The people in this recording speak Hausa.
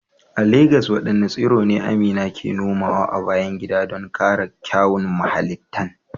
A Legas wadanne tsiro ne Amina ke nomawa a bayan gida don kara kyawun muhallinta?